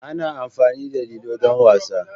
Ana amfani da lilo don wasa.